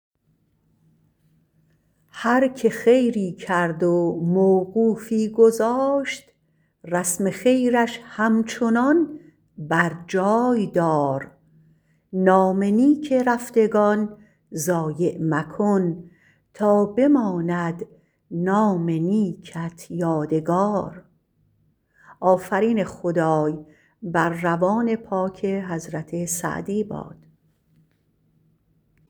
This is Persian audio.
هر که خیری کرد و موقوفی گذاشت رسم خیرش همچنان بر جای دار نام نیک رفتگان ضایع مکن تا بماند نام نیکت یادگار